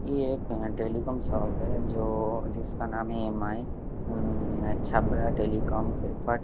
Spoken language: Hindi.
ये एक टेलीकॉम शॉप है जो जिसका नाम है मम मम अच्छा बड़ा टेलीकॉम --